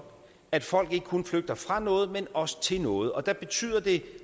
at folk ikke kun flygter fra noget men også til noget og der betyder det